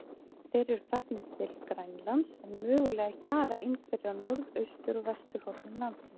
Þeir eru farnir til Grænlands, en mögulega hjara einhverjir á norðaustur- og vesturhornum landsins.